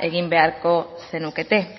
egin beharko zenukete